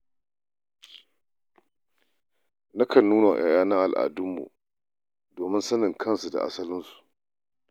Nakan nuna wa 'ya'yana al'dunmu domin sanin kansu da asalinsu.